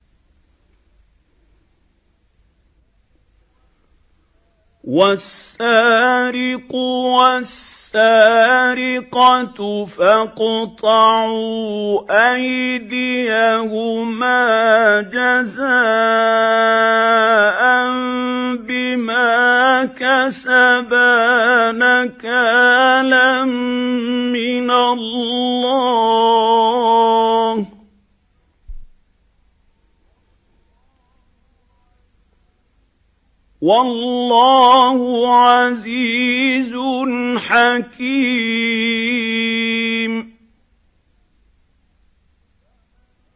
وَالسَّارِقُ وَالسَّارِقَةُ فَاقْطَعُوا أَيْدِيَهُمَا جَزَاءً بِمَا كَسَبَا نَكَالًا مِّنَ اللَّهِ ۗ وَاللَّهُ عَزِيزٌ حَكِيمٌ